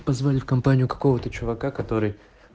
позвали в компанию какого-то чувака который